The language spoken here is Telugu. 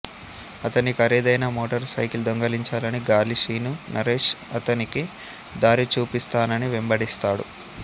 అతని ఖరీదైన మోటారు సైకిల్ దొంగిలించాలని గాలి శీను నరేష్ అతనికి దారి చూపిస్తానని వెంబడిస్తాడు